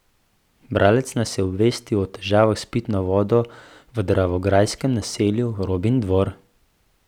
Bralec nas je obvestil o težavah s pitno vodo v dravograjskem naselju Robindvor.